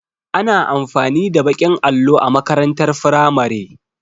Ana amfani da baƙin allo a makarantar firamare